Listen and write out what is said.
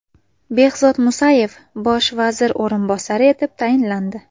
Behzod Musayev bosh vazir o‘rinbosari etib tayinlandi.